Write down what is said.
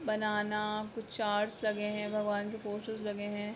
बनाना कुछ चार्स लगे हैभगवान के पोस्टर्स लगे है।